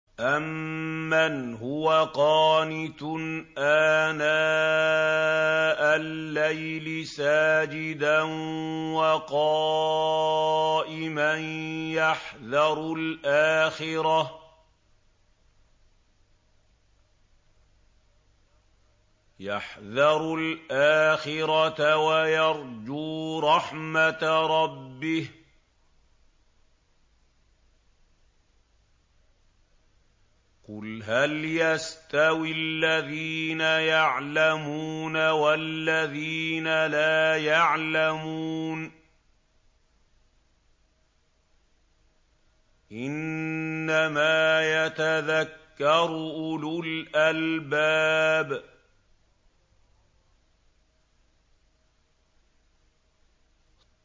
أَمَّنْ هُوَ قَانِتٌ آنَاءَ اللَّيْلِ سَاجِدًا وَقَائِمًا يَحْذَرُ الْآخِرَةَ وَيَرْجُو رَحْمَةَ رَبِّهِ ۗ قُلْ هَلْ يَسْتَوِي الَّذِينَ يَعْلَمُونَ وَالَّذِينَ لَا يَعْلَمُونَ ۗ إِنَّمَا يَتَذَكَّرُ أُولُو الْأَلْبَابِ